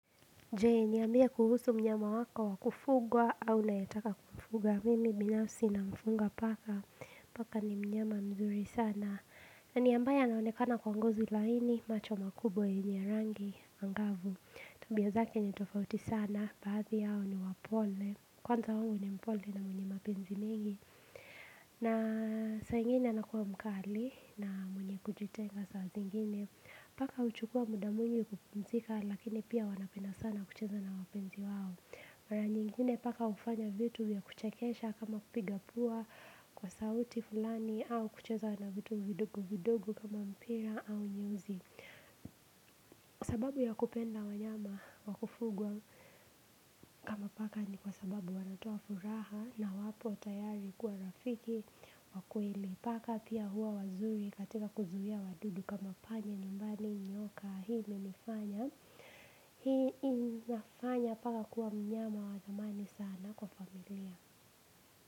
Je ni ambie kuhusu mnyama wako wakufugwa au unayetaka kumfuga mimi binafsi na mfunga paka Paka ni mnyama mzuri sana na ni ambaye anaonekana kwa ngozi laini macho makubwa yenye ya rangi angavu Tabia zake ni tofauti sana, baadhi yao ni wapole Kwanza wangu ni mpole na mwenye mapenzi mengi na saa ingine anakua mkali na mwenye kujitenga saa zingine Paka huchukua muda mwingi kupumzika lakini pia wanapenda sana kucheza na wapenzi wao. Mara nyingine paka ufanya vitu ya kuchekesha kama kupiga pua kwa sauti fulani au kucheza na vitu vidogo vidogo kama mpira au nyeusi. Sababu ya kupenda wanyama wakufugwa kama paka ni kwa sababu wanatoa furaha na wapo tayari kuwa rafiki wa kweli. Paka pia huwa wazuri katika kuzuia wadudu kama panya nyumbani nyoka. Hii imenifanya. Hii inafanya paka kuwa mnyama wa zamani sana kwa familia.